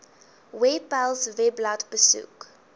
webpals webblad besoek